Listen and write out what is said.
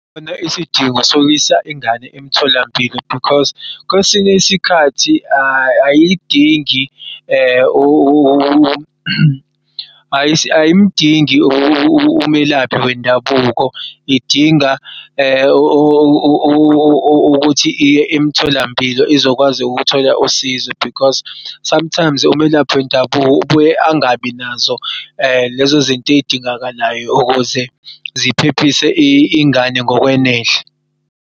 Khona isidingo sokuyisa ingane emtholampilo because kwesinye isikhathi ayidingi ayimdingi umelaphi wendabuko idinga ukuthi iye emtholampilo izokwazi ukuthola usizo because sometimes umelaphi wendabuko ubuye angabinazo lezozinto ey'dingakalayo ukuze ziphephise ingane ngokwenele.